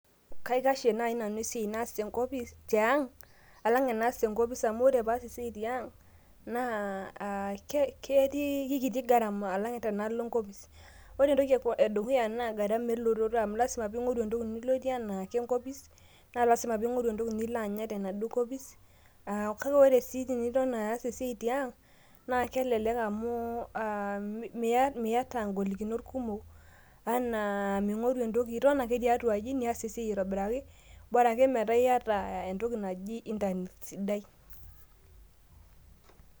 Kaikashie naai nanu esiai naas tiang' alang' enaas tenkopis, amu ore paas esiai tiang' naa keikiti gharama alang' tenalo enkoips. Ore entoki edukuya naa gharama elototo amu lasima piing'oru entoki nilotie anaake enkopis naa lasima piing'oru entoki nilo anya tenaduo kopis kake ore sii tiniton aas esia tiang' naa kelelek amu miyata ngoilikinot kumok anaa iton ake tiatua aji niyas esiai aitobiraki borake metaa iyata entoki naji internet sidai.